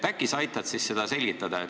Äkki sa aitad seda selgitada.